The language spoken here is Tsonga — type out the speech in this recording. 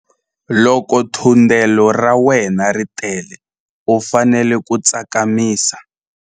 Loko thundelo ra wena ri tele u fanele ku tsakamisa.